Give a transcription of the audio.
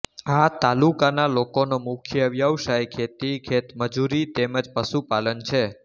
આ તાલુકાના લોકોનો મુખ્ય વ્યવસાય ખેતી ખેતમજૂરી તેમ જ પશુપાલન છે